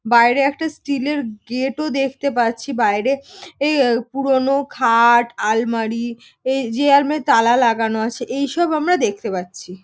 বাইরে একটি স্টিল -এর গেট -ও দেখতে পাচ্ছি বাইরে পুরনো খাট আলমারি। এযে আলমারিতে তালা লাগানো আছে এইসব আমরা দেখতে পাচ্ছি।